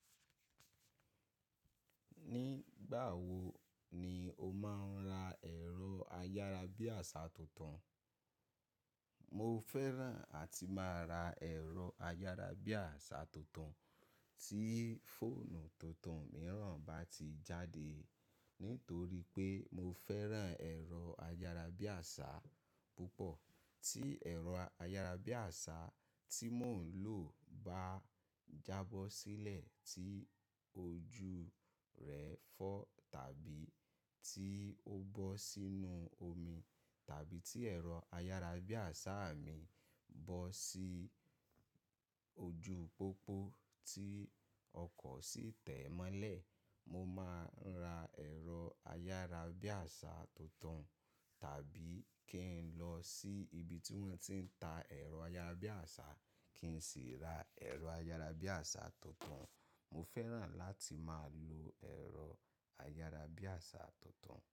Nígbà wo ni o máa ń ra ẹ̀rọ ayárabíàṣá tuntun? Mo fẹ́ràn àti máa ra ẹ̀rọ ayárabíàṣá tuntun tí fóònù tuntun mìíràn bá ti jáde. Nítorí pé mo fẹ́ràn ẹ̀rọ ayárabíàṣá púpọ̀. Tí ẹ̀rọ ayárabíàṣá tí mò ń lò bá jábọ́ sílẹ̀ tí ojú rẹ fọ́ tàbí tí ó bọ́ sínú omi tàbí tí ẹ̀rọ ayárabíàṣá mi bọ́ sí ojú pópó tí ọkọ̀ sì tẹ̀ ẹ́ mọ́lẹ̀, mo máa ń ra ẹ̀rọ ayárabíàṣá tuntun. Tàbí kí n lọ sí ibi tí wọ́n ti ń ta ẹ̀rọ ayárabíàṣá kí n sì ra ẹ̀rọ ayárabíàṣá tuntun. Mo fẹ́ràn láti máa lo ẹ̀rọ ayárabíàṣá tuntun.